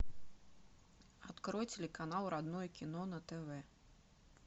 открой телеканал родное кино на тв